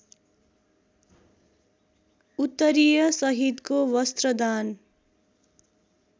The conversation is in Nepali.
उत्तरीय सहितको वस्त्रदान